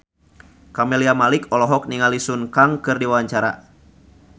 Camelia Malik olohok ningali Sun Kang keur diwawancara